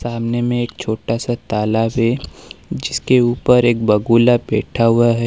सामने में एक छोटा सा तालाब है जिसके ऊपर एक बगुला बैठा हुआ है।